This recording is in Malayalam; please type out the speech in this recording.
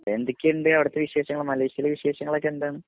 എന്തൊക്കെയുണ്ട് അവിടുത്തേ വിശേഷങ്ങൾ മലേഷ്യയിലേ വിശേഷങ്ങൾ ഒക്കെ എന്താണ്?